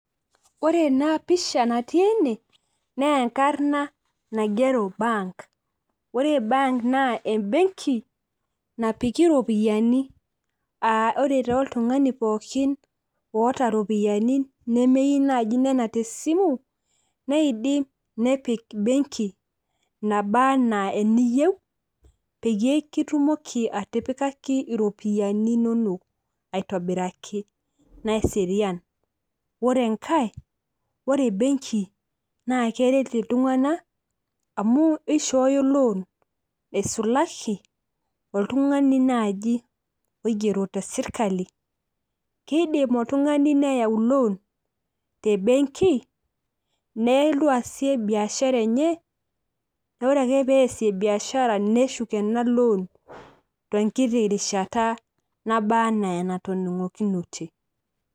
Ore ena pisha natii ene naa enkarna naigero bank. Ore bank naa embenki napiki iropiyiani ,aa ore naji oltungani pookin oota iropiyiani nemeyieu naji nenap te simu , neidim nepik benki , nabaa anaa eniyieu peyie kitumoki atipikaki iropiyiani inonok aitobiraki naserian. Ore enkae naa ore benki naa keret iltunganak amu eishooyo loan eisulaki oltungani naji oigero te sirkali. Kedim oltungani neyau loan te benki nelotu aasie biashara enye, naa ore ake pesie biashara neshuk ena tenkiti rishata naba anaa enatoningunote.